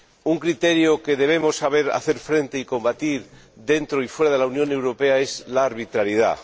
Un criterio al que debemos saber hacer frente y combatirlo dentro y fuera de la Unión Europea es la arbitrariedad.